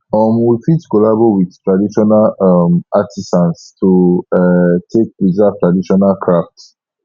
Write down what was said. um we fit collabo with traditional um artisans to um take preserve traditional craft